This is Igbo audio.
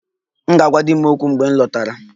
M ga-agwa di m okwu mgbe m lọtara